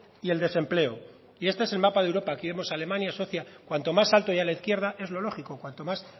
y el desempleo y este es el mapa de europa aquí vemos alemania suecia cuanto más alto y a la izquierda es lo lógico cuanto más